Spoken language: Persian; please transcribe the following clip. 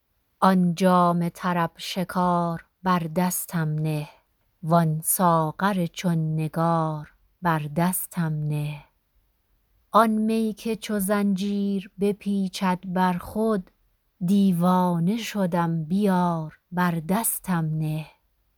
آن جام طرب شکار بر دستم نه وان ساغر چون نگار بر دستم نه آن می که چو زنجیر بپیچد بر خود دیوانه شدم بیار بر دستم نه